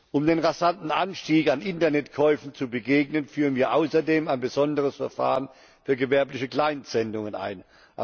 Um dem rasanten Anstieg an Internetkäufen zu begegnen, führen wir außerdem ein besonderes Verfahren für gewerbliche Kleinsendungen ein.